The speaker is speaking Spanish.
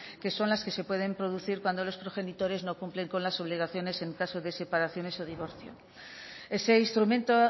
que son las que se pueden producir cuando los progenitores no cumplen con las obligaciones en caso de separaciones o divorcio ese instrumento